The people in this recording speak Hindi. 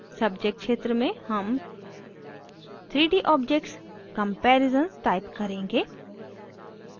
subject क्षेत्र में हम 3d objects comparisons type करेंगे